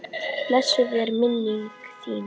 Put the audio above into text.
Blessuð er minning þín.